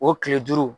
O kile duuru